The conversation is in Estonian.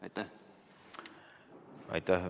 Aitäh!